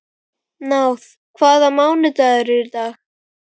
Náð, hvaða mánaðardagur er í dag?